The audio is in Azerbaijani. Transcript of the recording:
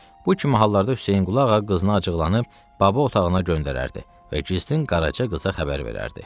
Bu kimi hallarda Hüseynqulu ağa qızını acıqlanıb Baba otağına göndərərdi və gizlin Qaraca qıza xəbər verərdi.